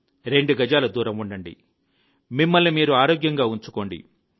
రెండు గజాలు దూరం ఉండండి మిమ్మల్ని మీరు ఆరోగ్యంగా ఉంచుకోండి